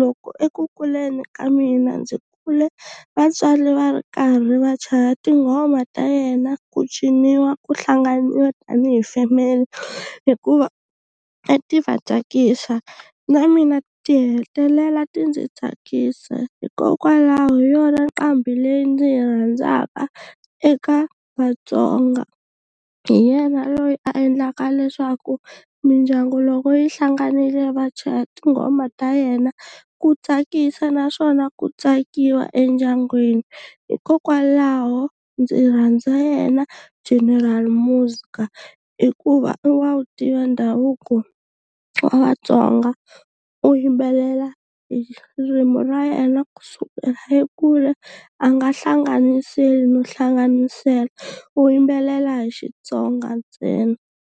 loko eku kuleni ka mina ndzi kule vatswari va ri karhi va chaya tinghoma ta yena ku ciniwa ku hlanganiwa tanihi family hikuva a ti va tsakisa na mina ti hetelela ti ndzi tsakisa hikokwalaho hi yona nqambi leyi ndzi yi rhandzaka eka Vatsonga hi yena loyi a endlaka leswaku mindyangu loko yi hlanganile vachaya tinghoma ta yena ku tsakisa naswona ku tsakiwa endyangwini hikokwalaho ndzi rhandza yena General Muzka hikuva i wa wu tiva ndhavuko wa Vatsonga u yimbelela hi ririmi ra yena kusukela le kule a nga hlanganiseli no hlanganisela u yimbelela hi Xitsonga ntsena.